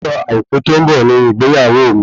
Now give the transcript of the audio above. Ọjọ́ àìkú tó ń bọ̀ ni ìgbéyàwó mi